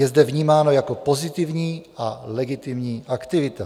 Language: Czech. Je zde vnímáno jako pozitivní a legitimní aktivita.